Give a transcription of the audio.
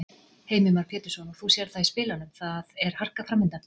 Heimir Már Pétursson: Og þú sérð það í spilunum, það er harka framundan?